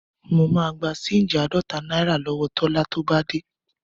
Mo máa gba ṣéńjì àádọ́ta náírà lọ́wọ Tọ́lá tó bá dé.